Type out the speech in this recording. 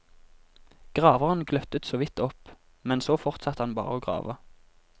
Graveren gløttet såvidt opp, men så fortsatte han bare å grave.